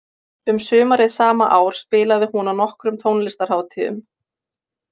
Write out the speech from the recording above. Um sumarið sama ár spilaði hún á nokkrum tónlistarhátíðum.